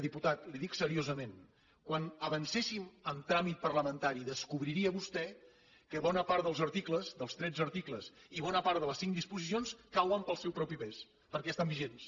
diputat li ho dic seriosament quan avancéssim en tràmit parlamentari descobriria vostè que bona part dels articles dels tretze articles i bona part de les cinc disposicions cauen pel seu propi pes perquè ja estan vigents